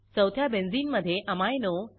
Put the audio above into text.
चौथ्या बेंझिनमधे अमिनो